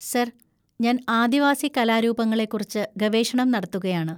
Sir, ഞാൻ ആദിവാസി കലാരൂപങ്ങളെക്കുറിച്ച് ഗവേഷണം നടത്തുകയാണ്.